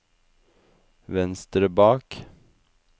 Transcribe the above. venstre bak